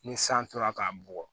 Ni san tora k'a bugɔ